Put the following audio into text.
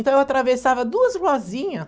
Então, eu atravessava duas ruazinha.